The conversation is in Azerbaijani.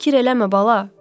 Fikir eləmə bala!